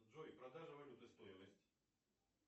джой продажа валюты стоимость